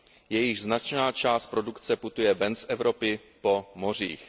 jejichž značná část produkce putuje ven z Evropy po mořích.